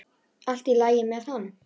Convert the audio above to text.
Allt í lagi með hann!